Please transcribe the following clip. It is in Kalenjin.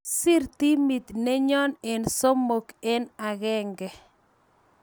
Kisiir timit nenyo eng somok eng agenge